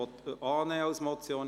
Ja / Oui Nein /